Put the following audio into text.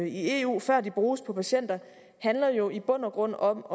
i eu før de bruges på patienter handler jo i bund og grund om